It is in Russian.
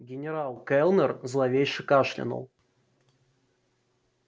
генерал кэллнер зловеще кашлянул